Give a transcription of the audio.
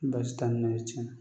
Baasi t'an na tiɲɛ na